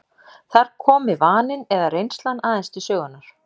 Þar komi vaninn eða reynslan aðeins til sögunnar.